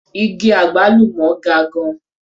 Igi àgbálùmọ́ ga gan-an.